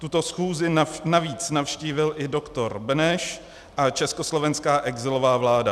Tuto schůzi navíc navštívil i dr. Beneš a československá exilová vláda.